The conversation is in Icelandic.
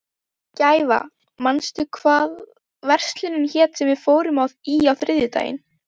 Gæfa, manstu hvað verslunin hét sem við fórum í á þriðjudaginn?